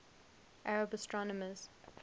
arab astronomers